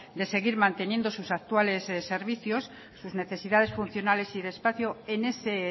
de seguir manteniendo sus actuales servicios sus necesidades funcionales y de espacio en ese